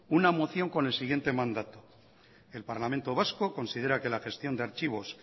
una moción con el siguiente mandato el parlamento vasco considera que la gestión de archivos